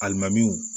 Alimamuw